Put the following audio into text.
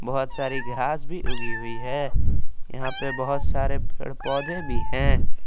बहुत सारी घास भी उगी हुई है यहां पे बहुत सारे पेड़ पौधे भी हैं।